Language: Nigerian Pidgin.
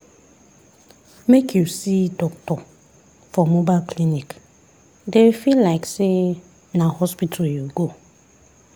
make you see doctor for mobile clinic dey feel like say na hospital you go.